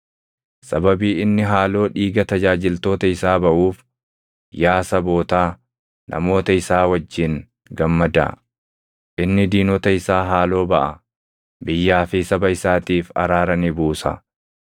Sababii inni haaloo dhiiga tajaajiltoota isaa baʼuuf, yaa sabootaa, namoota isaa wajjin gammadaa. Inni diinota isaa haaloo baʼa; biyyaa fi saba isaatiif araara ni buusa.